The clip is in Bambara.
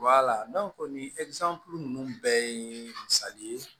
nin ninnu bɛɛ ye misali ye